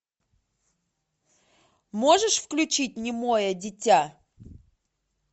можешь включить немое дитя